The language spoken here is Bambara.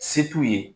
Se t'u ye